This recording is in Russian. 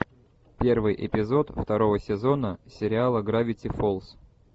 первый эпизод второго сезона сериала гравити фолз